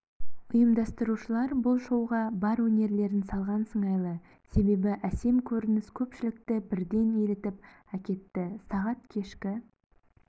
ұйымдастырушылар бұл шоуға бар өнерлерін салған сыңайлы себебі әсем көрініс көпшілікті бірден елітіп әкетті сағат кешкі